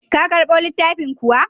Ka karɓo littafin kuwa?